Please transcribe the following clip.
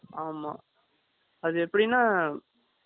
ஆமா.அது எப்படின்னா